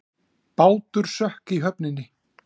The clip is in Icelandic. Bátur sökk í höfninni